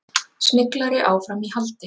Smyglari áfram í haldi